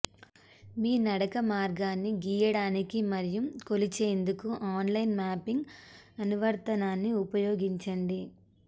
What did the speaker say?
మీ నడక మార్గాన్ని గీయడానికి మరియు కొలిచేందుకు ఆన్లైన్ మాపింగ్ అనువర్తనాన్ని ఉపయోగించండి